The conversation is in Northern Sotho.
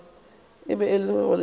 e bego e le ya